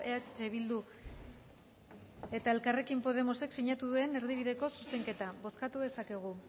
eh bildu eta elkarrekin podemosek sinatu duen erdibideko zuzenketa bozkatu dezakegu